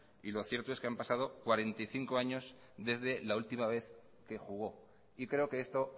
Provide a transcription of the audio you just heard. y lo cierto es que han pasado cuarenta y cinco años desde la última vez que jugó y creo que esto